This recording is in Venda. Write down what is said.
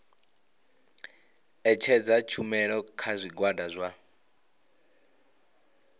ṋetshedza tshumelo kha zwigwada zwa